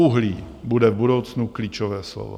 Uhlí bude v budoucnu klíčové slovo.